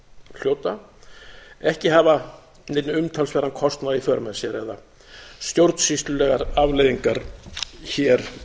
hljóta ekki hafa neinn umtalsverðan kostnað í för með sér eða stjórnsýslulegar afleiðingar hér